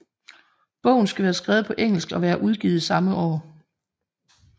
Bogen skal være skrevet på engelsk og være udgivet samme år